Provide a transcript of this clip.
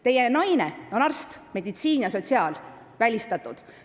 Teie naine on arst, seega on meditsiin ja sotsiaalküsimused välistatud.